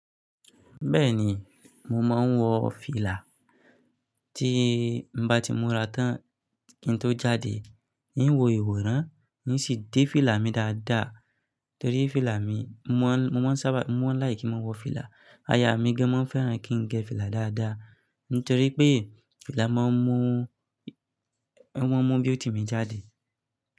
Bẹ́ẹ̀ni, mo máa ń wọ fìlà. Tí n bá ti múra tán kí n tó jáde, n ó wo ìwòran, n ó sì dé fìlà mi dáadáa torí fìlà mi, mo máa ń sábà, mo máa ń like ki máa wọ fìlà. Ayà mí gán máa ń fẹ́ràn kí n gẹ fìlà dáadáa nítorí pé fìlà máa ń mú, máa ń mú beauty mi jáde.